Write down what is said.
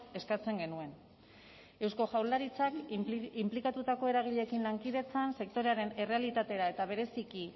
eskatzen genuen eusko jaurlaritzak inplikatutako eragileekin lankidetzan sektorearen errealitatera eta bereziki